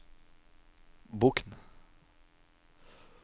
Bokn